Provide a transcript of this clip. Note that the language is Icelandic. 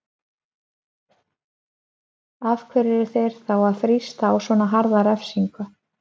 Af hverju eru þeir þá að þrýsta á svona harða refsingu?